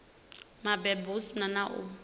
mabebo hu si na u